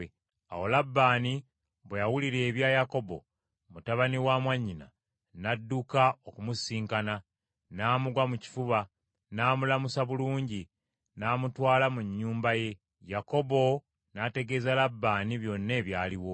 Awo Labbaani bwe yawulira ebya Yakobo, mutabani wa mwannyina, n’adduka okumusisinkana, n’amugwa mu kifuba n’amulamusa bulungi, n’amutwala mu nnyumba ye. Yakobo n’ategeeza Labbaani byonna ebyaliwo.